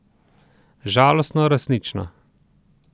Žalostno, a resnično.